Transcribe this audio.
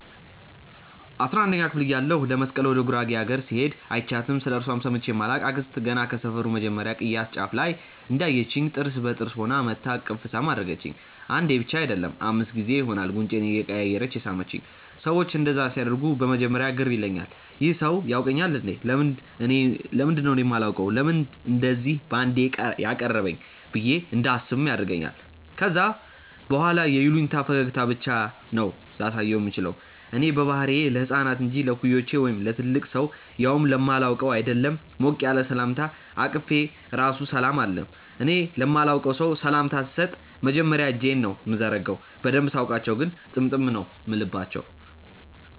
አስራንደኛ ክፍል እያለሁ ለመስቀል ወደ ጉራጌ አገር ስሄድ÷ አይችያትም ስለእርሷም ሰምቼ ማላቅ አክስት ገና ከሰፈሩ መጀመርያ ቅያስ ጫፍ ላይ እንዳየቺኝ ጥርስ በጥርስ ሆና መጥታ እቅፍ ሳም አደረገቺኝ። አንዴ ብቻ አይደለም÷ አምስት ጊዜ ይሆናል ጉንጬን እያቀያየረች የሳመቺኝ። ሰዎች እንደዛ ሲያደርጉ በመጀመርያ ግር ይለኛል- "ይህ ሰው ያውቀኛል እንዴ? ለምንድነው እኔ ማላውቀው? ለምንድነው እንደዚ ባንዴ ያቀረበኝ?" ብዬ እንዳስብም ያደርገኛል ከዛ በኋላ የይሉኝታ ፈገግታ ብቻ ነው ላሳየው ምችለው። እኔ በባህሪዬ ለህፃናት እንጂ ለእኩዮቼ ወይም ለትልቅ ሰው ያውም ለማላውቀው ÷ አይደለም ሞቅ ያለ ሰላምታ አቅፌ ራሱ ሰላም አልልም። እኔ ለማላቀው ሰው ሰላምታ ስሰጥ መጀመርያ እጄን ነው ምዘረጋው። በደንብ ሳውቃቸው ግን ጥምጥም ነው ምልባቸው።